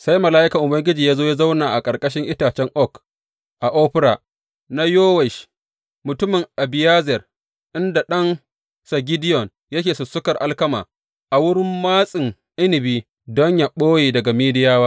Sai mala’ikan Ubangiji ya zo ya zauna a ƙarƙashin itacen oak a Ofra na Yowash mutumin Abiyezer, inda ɗansa Gideyon yake sussukar alkama a wurin matsin inabi don yă ɓoye daga Midiyawa.